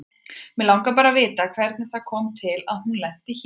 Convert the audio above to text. Mig langar bara að vita hvernig það kom til að hún lenti hér.